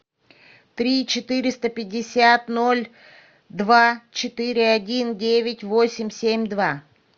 три четыреста пятьдесят ноль два четыре один девять восемь семь два